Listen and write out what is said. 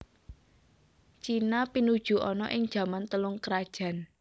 China pinuju ana ing jaman Telung krajan